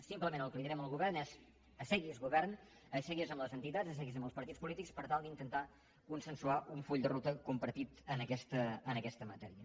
simplement el que direm al govern és assegui’s govern assegui’s amb les entitats assegui’s amb els partits polítics per tal d’intentar consensuar un full de ruta compartit en aquesta matèria